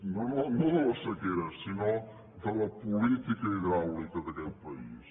no no de la sequera sinó de la política hidràulica d’aquest país